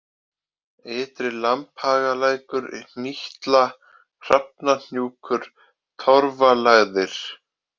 Ytri-Lambhagalækur, Hnýtla, Hrafnahnjúkur, Torfalægðir